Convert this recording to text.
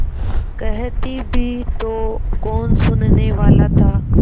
कहती भी तो कौन सुनने वाला था